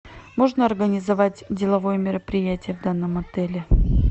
можно организовать деловое мероприятие в данном отеле